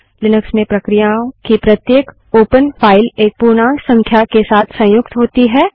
Linux में प्रक्रिया की प्रत्येक ओपनखुली फाइल एक पूर्णांक संख्या के साथ संयुक्त होती है